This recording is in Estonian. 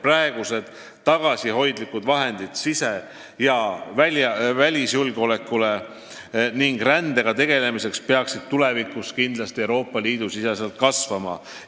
Praegused suhteliselt tagasihoidlikud vahendid sise- ja välisjulgeoleku suurendamiseks ning rändega tegelemiseks peaksid Euroopa Liidus kindlasti kasvama.